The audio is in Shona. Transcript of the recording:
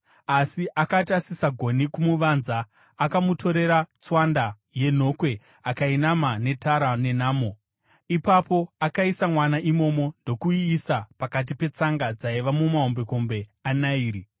Asi akati asisagoni kumuvanza, akamutorera tswanda yenhokwe akainama netara nenamo. Ipapo akaisa mwana imomo ndokuiisa pakati petsanga dzaiva mumahombekombe aNairi.